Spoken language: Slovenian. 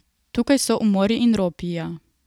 Tukaj so umori in ropi, ja.